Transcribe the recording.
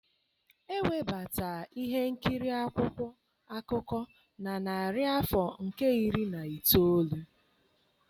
Ewebata ihe nkiri akwụkwọ akụkọ na narị afọ nke iri na itoolu.